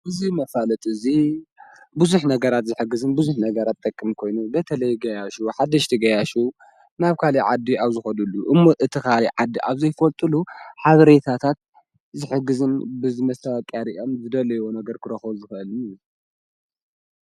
ብዙይ መፋለት እዙይ ብዙኅ ነገራት ዘኅግዝን ብዙኅ ነገራት ተክም ኮይኑ በተለይ ገያሹ ሓደሽቲ ገያሹ ናብካል ዓድ ኣብ ዝኾዱሉ እሞ እቲ ኻል ዓዲ ኣብ ዘይፈወልጡሉ ሓብሬታታት ዘሕግዝም ብዝመስተብቅኣሪኦም ዘደለይዎ ነገር ክረኸ ዝፈል።